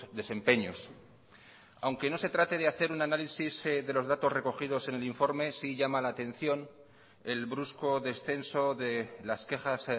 desempeños aunque no se trate de hacer un análisis de los datos recogidos en el informe sí llama la atención el brusco descenso de las quejas